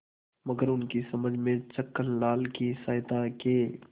मगर उनकी समझ में छक्कनलाल की सहायता के